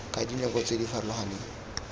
ka dinako tse di farologaneng